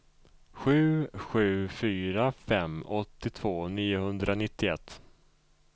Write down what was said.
sju sju fyra fem åttiotvå niohundranittioett